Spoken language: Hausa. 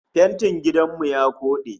Fentin gidan mu ya koɗe